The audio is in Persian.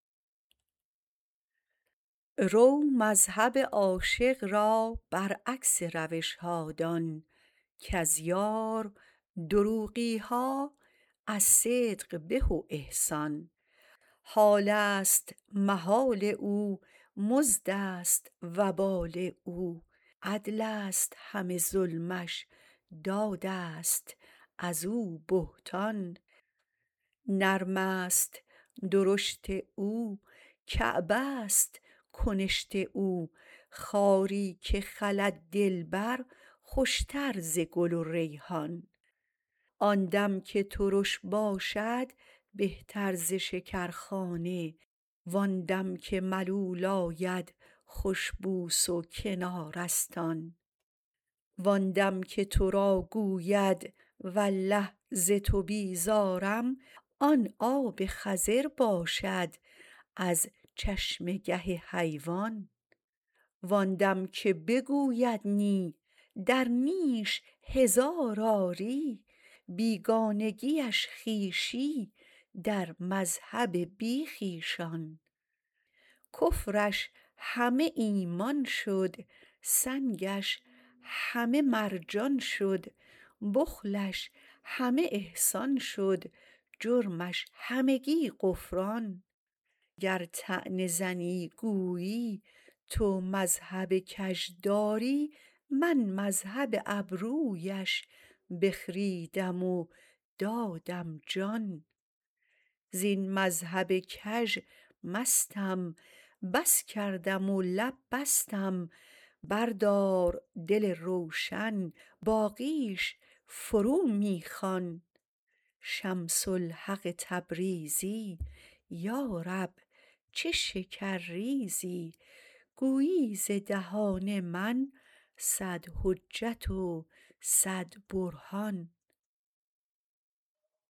رو مذهب عاشق را برعکس روش ها دان کز یار دروغی ها از صدق به و احسان حال است محال او مزد است وبال او عدل است همه ظلمش داد است از او بهتان نرم است درشت او کعبه ست کنشت او خاری که خلد دلبر خوشتر ز گل و ریحان آن دم که ترش باشد بهتر ز شکرخانه وان دل که ملول آید خوش بوس و کنار است آن وان دم که تو را گوید والله ز تو بیزارم آن آب خضر باشد از چشمه گه حیوان وان دم که بگوید نی در نیش هزار آری بیگانگیش خویشی در مذهب بی خویشان کفرش همه ایمان شد سنگش همه مرجان شد بخلش همه احسان شد جرمش همگی غفران گر طعنه زنی گویی تو مذهب کژ داری من مذهب ابرویش بخریدم و دادم جان زین مذهب کژ مستم بس کردم و لب بستم بردار دل روشن باقیش فرو می خوان شمس الحق تبریزی یا رب چه شکرریزی گویی ز دهان من صد حجت و صد برهان